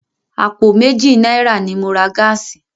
Àpò méjì náírà ni mo ra gáàsì.